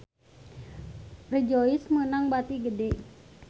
Rejoice meunang bati gede